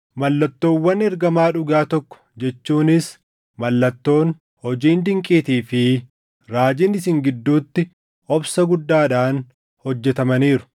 Mallattoowwan ergamaa dhugaa tokko jechuunis mallattoon, hojiin dinqiitii fi raajiin isin gidduutti obsa guddaadhaan hojjetamaniiru.